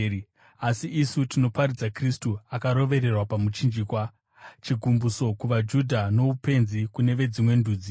asi isu tinoparidza Kristu akarovererwa pamuchinjikwa, chigumbuso kuvaJudha noupenzi kune veDzimwe Ndudzi.